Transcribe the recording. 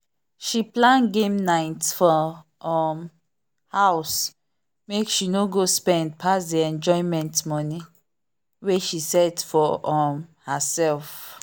she plan game night for um house make she no go spend pass the enjoyment money wey she set for um herself.